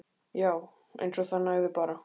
Já. eins og það nægði bara.